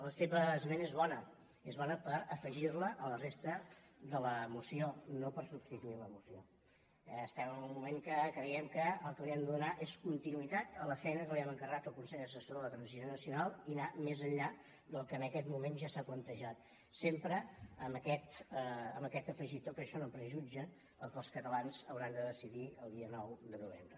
la seva esmena és bona és bona per afegir la a la resta de la moció no per substituir la moció eh estem en un moment en què creiem que el que li hem de donar és continuïtat a la feina que hem encarregat al consell assessor per a la transició nacional i anar més enllà del que en aquest moment ja s’ha plantejat sempre amb aquest afegitó que això no prejutja el que els catalans hauran de decidir el dia nou de novembre